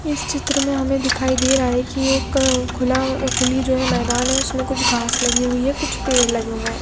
इस चित्र में हमे दिखाई दे रहा है की एक खुला अ खुली जो है मैदान है उसमे घास लगी हुयी है कुछ पेड़ लगे हुए है।